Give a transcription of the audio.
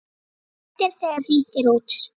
Léttir þegar hringt er út.